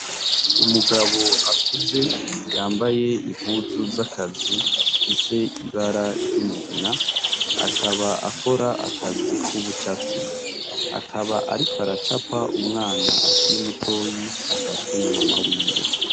Umugab' akuze yambay' impuzu z' akazi zifis' ibara ry'umugina, akaba akor' akazi kubucafyi, akab' ariko aracap' umwan' akiri mutoy' afashwe na mama wiwe.